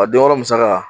A don yɔrɔ musaka